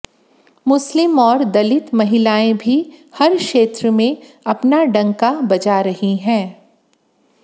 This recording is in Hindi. मुसलिम और दलित महिलायें भी हर क्षेत्र मे अपना डंका बजा रही है